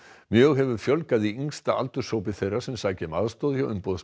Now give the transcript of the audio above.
mjög hefur fjölgað í yngsta aldurshópi þeirra sem sækja um aðstoð hjá umboðsmanni